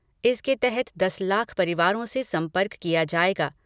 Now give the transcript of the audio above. इसके तहत दस लाख परिवारों से संपर्क किया जाएगा।